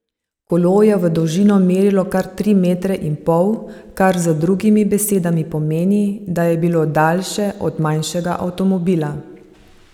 Kolo je v dolžino merilo kar tri metre in pol, kar z drugimi besedami pomeni, da je bilo daljše od manjšega avtomobila.